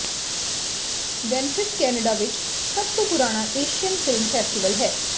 ਵੈਨਫਿਫ Canada ਵਿਚ ਸਭ ਤੋਂ ਪੁਰਾਣਾ ਏਸ਼ੀਅਨ ਫਿਲਮ ਫੈਸਟੀਵਲ ਹੈ